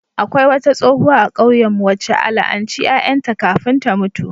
Akwai wata tsohuwa a kauyenmu wacce a la'anci ƴaƴan ta kafin ta mutu.